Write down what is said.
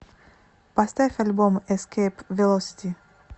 поставь альбом эскейп велосити